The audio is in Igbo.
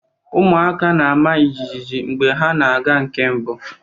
Ụmụaka na-ama jijiji mgbe ha na-aga nke mbụ.